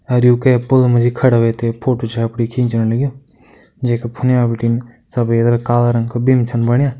और यू कै पुल मजी खड़ा हुएथे फोटो छै अपणी खीचणु लगयूं जेका फुने भिटिन सफ़ेद और काला रंग का बीम छन बणिया।